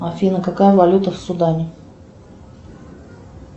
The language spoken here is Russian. афина какая валюта в судане